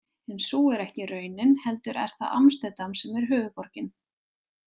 En sú er ekki raunin heldur er það Amsterdam sem er höfuðborgin.